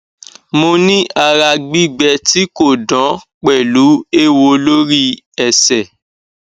moni ara gbigbe ti ko dan pelu ewo lori ese